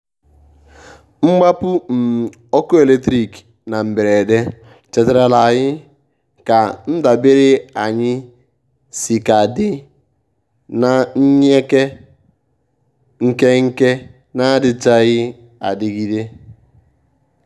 mgbápu um ọ́kụ́ élétrík ná mbérédé chétàrà la ànyị́ ká ndábèré ànyị́ síkà dí na nyèké nkéké n’àdíchághí ádígídé.